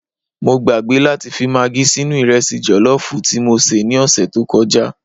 Mọ gbàgbé láti fi magí sínú Ìrẹsì jọ̀lọ́fù tí mọ sé ni ọsẹ̀ tọ kọjá